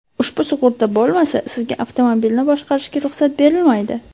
Ushbu sug‘urta bo‘lmasa, Sizga avtomobilni boshqarishga ruxsat berilmaydi.